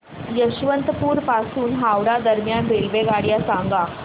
यशवंतपुर पासून हावडा दरम्यान रेल्वेगाड्या सांगा